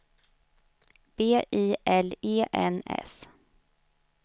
B I L E N S